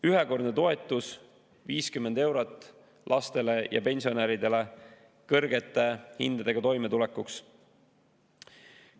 Ühekordne toetus 50 eurot lastele ja pensionäridele kõrgete hindadega toimetulekuks.